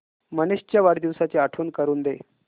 मनीष च्या वाढदिवसाची आठवण करून दे